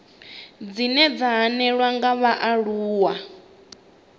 dzine dza hanelelwa nga vhaaluwa